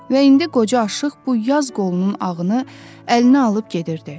Və indi qoca aşıq bu yaz qolunun ağını əlinə alıb gedirdi.